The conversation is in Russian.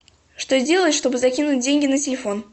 что сделать чтобы закинуть деньги на телефон